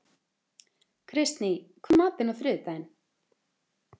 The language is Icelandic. Kristný, hvað er í matinn á þriðjudaginn?